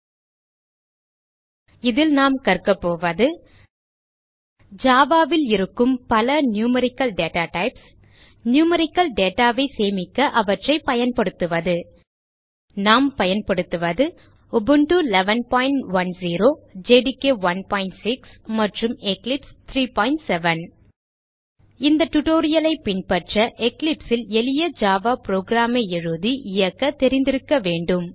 இந்த tutorial லில் நாம் கற்கபோவது Java ல் இருக்கும் பல நியூமெரிக்கல் டேட்டாடைப்ஸ் நியூமெரிக்கல் data ஐ சேமிக்க அவற்றை பயன்படுத்துவது நாம் பயன்படுத்துவது உபுண்டு 1110 ஜேடிகே 16 மற்றும் எக்லிப்ஸ் 370 இந்த tutorial ஐ பின்பற்ற Eclipse ல் எளிய ஜாவா program ஐ எழுதி இயக்க தெரிந்திருக்க வேண்டும்